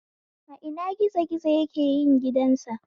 A ina gizo gizo yake yin gidan sa?